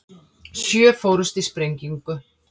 Sjö fórust í sprengingu